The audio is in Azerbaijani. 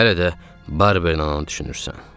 Hələ də Barber ananı düşünürsən.